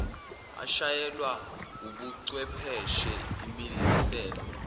eshayelwa wubuchwepheshe imiselwe